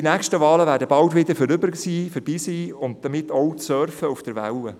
Die nächsten Wahlen werden bald schon vorüber sein und damit auch das Surfen auf der Welle.